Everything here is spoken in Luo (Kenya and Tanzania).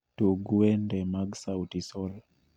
Tug wende te mag sauti sol